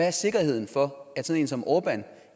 er sikkerheden for at sådan en som orbán